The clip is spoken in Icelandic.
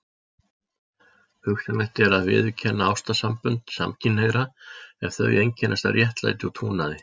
Hugsanlegt er að viðurkenna ástarsambönd samkynhneigðra ef þau einkennast af réttlæti og trúnaði.